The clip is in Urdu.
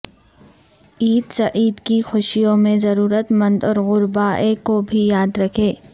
عید سعید کی خوشیوں میں ضرورت مند اور غربا ء کو بھی یاد رکھیں